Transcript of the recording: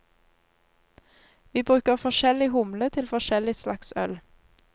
Vi bruker forskjellig humle til forskjellig slags øl.